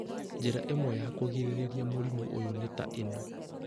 Njĩra imwe cia kũgirĩrĩria mũrimũ ũyũ nĩ ta ĩno: